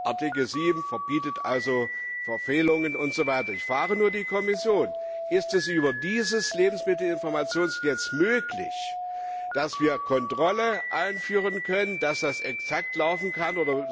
Artikel 7 verbietet Verfehlungen und so weiter. Ich frage die Kommission Ist es über dieses Lebensmittelinformationsgesetz möglich, dass wir Kontrolle einführen können, dass das exakt laufen kann?